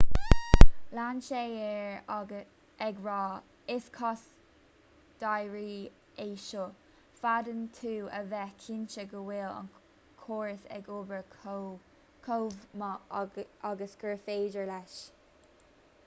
lean sé air ag rá is cás dáiríre é seo féadann tú a bheith cinnte go bhfuil an córas ag obair chomh maith agus gur féidir leis